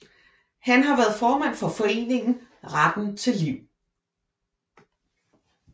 Han har været formand for foreningen Retten til Liv